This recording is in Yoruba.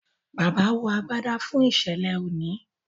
bàbá wọ àgbàdá fún iṣẹlẹ òní.